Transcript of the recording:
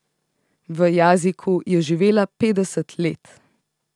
V Jaziku je živela petdeset let.